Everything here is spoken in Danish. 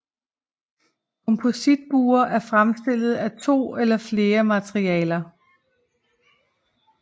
Kompositbuer er fremstillet af to eller flere materialer